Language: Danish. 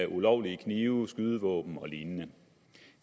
ulovlige knive skydevåben og lignende